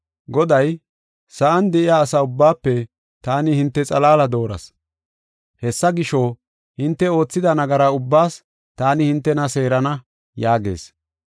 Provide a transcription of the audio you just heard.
Goday, “Sa7an de7iya asa ubbaafe taani hinte xalaala dooras. Hessa gisho, hinte oothida nagara ubbaas taani hintena seerana” yaagees.